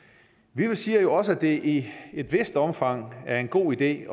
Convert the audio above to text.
vi siger jo også at det i et vist omfang er en god idé